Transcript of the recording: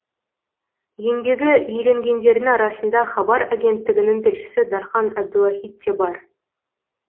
еңбегі еленгендердің арасында хабар агенттігінің тілшісі дархан әбдуахит те бар